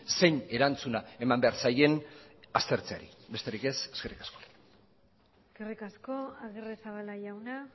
zein erantzuna eman behar zaien aztertzeari besterik ez eskerrik asko eskerrik asko agirrezabala jauna